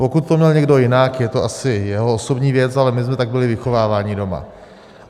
Pokud to měl někdo jinak, je to asi jeho osobní věc, ale my jsme tak byli vychováváni doma.